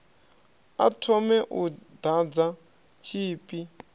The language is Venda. a thome u ḓadza tshipi